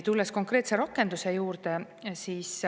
Tulen konkreetse rakenduse juurde.